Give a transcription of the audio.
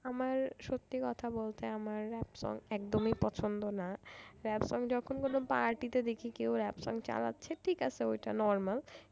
আমার সত্যি কথা বলতে আমার rap song একদমই পছন্দ না rap song যখন কোন party তে দেখি কেউ rap song চালাচ্ছে ঠিক আছে ওটা normal